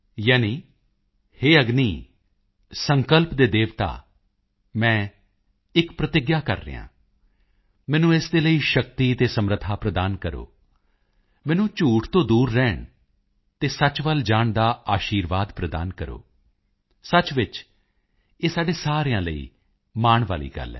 ਯਾਨੀ ਹੇ ਅਗਨੀ ਸੰਕਲਪ ਦੇ ਦੇਵਤਾ ਮੈਂ ਇੱਕ ਪ੍ਰਤਿਗਿਆ ਕਰ ਰਿਹਾ ਹਾਂ ਮੈਨੂੰ ਇਸ ਦੇ ਲਈ ਸ਼ਕਤੀ ਅਤੇ ਸਮਰੱਥਾ ਪ੍ਰਦਾਨ ਕਰੋ ਮੈਨੂੰ ਝੂਠ ਤੋਂ ਦੂਰ ਰਹਿਣ ਅਤੇ ਸੱਚ ਵੱਲ ਜਾਣ ਦਾ ਆਸ਼ੀਰਵਾਦ ਪ੍ਰਦਾਨ ਕਰੋ ਸੱਚ ਵਿੱਚ ਹੀ ਇਹ ਸਾਡੇ ਸਾਰਿਆਂ ਲਈ ਮਾਣ ਕਰਨ ਵਾਲੀ ਗੱਲ ਹੈ